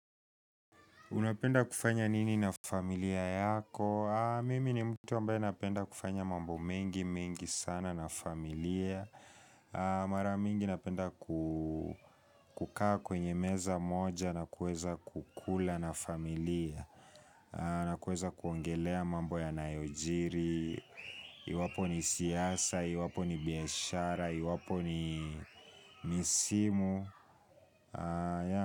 Unapenda kufanya nini na familia yako? Mimi ni mtu ambaye napenda kufanya mambo mengi, mengi sana na familia. Mara mingi napenda kukaa kwenye meza moja na kueza kukula na familia. Na kuweza kuongelea mambo yanayojiri. Iwapo ni siasa, iwapo ni biashara, iwapo ni misimu.